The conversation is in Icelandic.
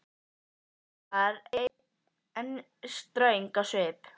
Amma var enn ströng á svip.